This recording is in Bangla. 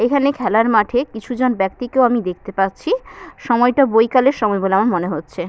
এখানে খেলার মাঠে কিছুজন ব্যাক্তিকে আমি দেখতে পাচ্ছি সময়টা বৈকালের সময় বলে আমার মনে হচ্ছে।